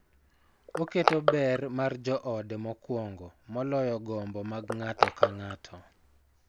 Oketo ber mar joode mokuongo moloyo gombo mag ng�ato ka ng�ato.